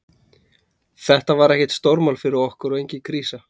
Þetta var ekkert stórmál fyrir okkur og engin krísa.